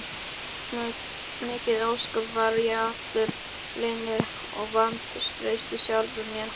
Mikið ósköp var ég allur linur og vantreysti sjálfum mér!